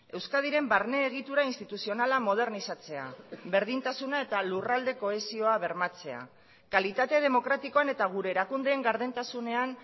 euskadiren barne egitura instituzionala modernizatzea berdintasuna eta lurralde kohesioa bermatzea kalitate demokratikoan eta gure erakundeen gardentasunean